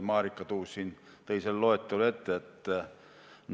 Marika Tuus kandis meile selle loetelu ette.